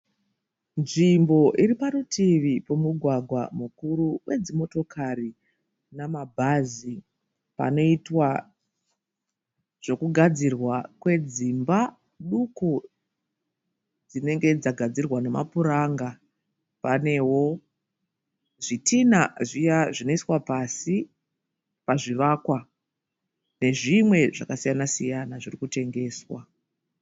Nzvimbo iriparutivi pemugwagwa mukuru wedzimotokari namabhazi panoitwa zvekugadzirwa kwedzimba duku dzinenge dzagadzirwa nemapuranga panewo zvitinha zviya zvinoiswa pasi pazvivakwa nezvimwe zvakasiyana siyana zvirikutengeswa.